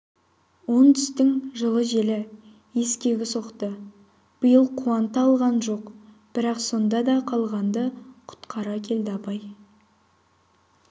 оңтүстіктің жылы желі ескегі соқты биыл қуанта алған жоқ бірақ сонда да қалғанды құтқара келді абай